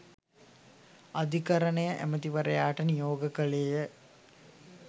අධිකරණය ඇමැතිවරයාට නියෝග කළේය.